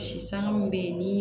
Si sanŋa mun bɛ yen ni